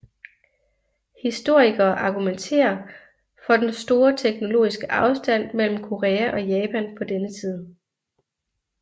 Historikere argumenterer for den store teknologiske afstand mellem Korea og Japan på denne tid